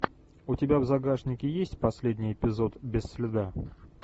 у тебя в загашнике есть последний эпизод без следа